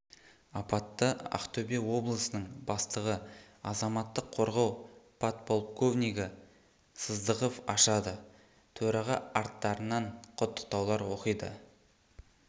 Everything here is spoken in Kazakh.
апатты ақтөбе облысының бастығы азаматтық қорғау подполковнигі сыздықов ашады төраға аттарынан құттықтаулар оқиды